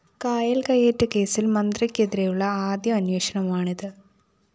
കായല്‍ കയ്യേറ്റകേസില്‍ മന്ത്രിക്കെതിരെയുള്ള ആദ്യ അന്വേഷണമാണിത്